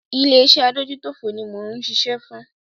Ilé iṣé adójútòfò ní mò ń ṣiṣẹ́ fún.